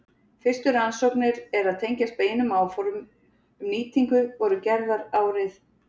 Fyrstu rannsóknir er tengjast beinum áformum um nýtingu voru gerðar árið